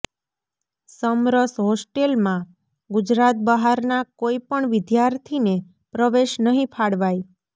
સમરસ હોસ્ટેલમાં ગુજરાત બહારના કોઈ પણ વિદ્યાર્થીને પ્રવેશ નહીં ફાળવાય